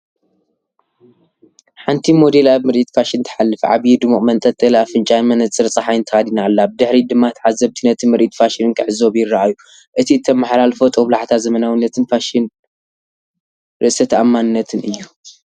ሓንቲ ሞዴል ኣብ ምርኢት ፋሽን ትሓልፍ። ዓቢይ ድሙቕ መንጠልጠሊ ኣፍንጫን መነጽር ጸሓይን ተኸዲና ኣላ። ብድሕሪት ድማ ተዓዘብቲ ነቲ ምርኢት ፋሽን ክዕዘቡ ይረኣዩ። እቲ እተመሓላልፎ ጦብላሕታ ዘመናዊነትን ፋሽንን ርእሰ ተኣማንነትን እዩ።